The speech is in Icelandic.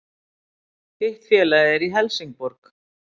Hitt félagið er Helsingborg